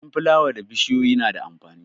Dashen fulawa da bishiyoyi na da amfani.